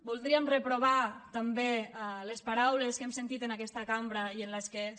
voldríem reprovar també les paraules que hem sentit en aquesta cambra i en les quals